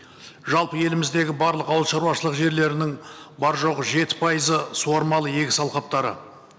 жалпы еліміздегі барлық ауылшаруашылық жерлерінің бар жоғы жеті пайызы суармалы егіс алқаптары